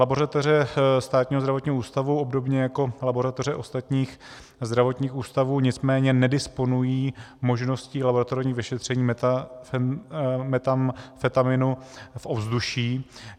Laboratoře Státního zdravotního ústavu obdobně jako laboratoře ostatních zdravotních ústavů nicméně nedisponují možností laboratorních vyšetření metamfetaminu v ovzduší.